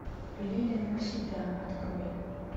лилия навсегда открой